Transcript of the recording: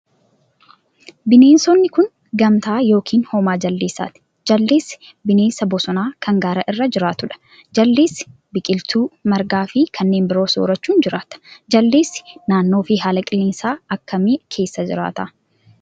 Bineensonni kun, gamtaa yokin hoomaa jaldeessaaati. Jaldeessi bineensa bosonaa kan gaara irra jiraatuu dha. Jaldeessi ,biqiltuu margaa fi kanneen biroo soorachuun jiraata. Jaldeessi naannoo fi haala qilleensaa akka kamii keessa jiraata?